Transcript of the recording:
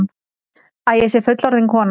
Að ég sé fullorðin kona.